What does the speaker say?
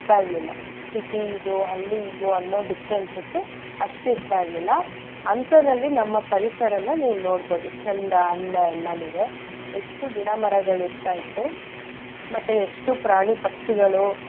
ಇರ್ಲಿಲ್ಲ city ಇದು ಹಳ್ಳಿ ಇದು ಅಂತ differences ಉ ಅಷ್ಟ್ ಇರ್ತಾ ಇರ್ಲಿಲ್ಲ ಅಂಥದ್ರಲ್ಲಿ ನಮ್ಮ ಪರಿಸರನ ನೀವ್ ನೋಡ್ಬೋದು ಚೆಂದ ಅಂದ ಎಲ್ಲನೂವೆ ಎಷ್ಟು ಗಿಡ ಮರಗಳಿರ್ತಾಯಿತ್ತು ಮತ್ತೇ ಎಷ್ಟು ಪ್ರಾಣಿ ಪಕ್ಷಿಗಳು.